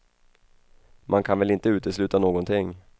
Man kan väl inte utesluta någonting.